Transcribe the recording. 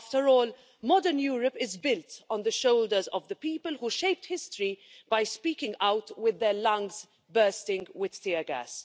After all, modern Europe is built on the shoulders of the people who shaped history by speaking out with their lungs bursting with tear gas.